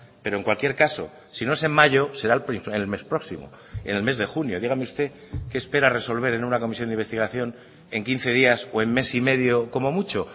pero en cualquier caso si no es en mayo será el mes próximo en el mes de junio dígame usted qué espera resolver en una comisión de investigación en quince días o en mes y medio como mucho